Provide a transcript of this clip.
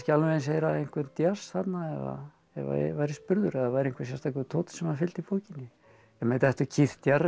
alveg eins heyra einhvern djass þarna ef ég væri spurður ef það væri einhver sérstakur tónn sem fylgdi bókinni en mér dettur Keith